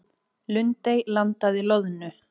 Lundey landaði loðnu